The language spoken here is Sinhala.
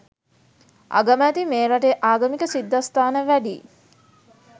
අගමැති මේ රටේ ආගමික සිද්ධස්ථාන වැඩියි